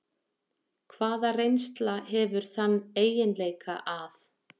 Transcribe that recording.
Hvaða reynsla hefur þann eiginleika að